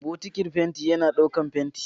Bokitin fenti yana ɗaukar fenti.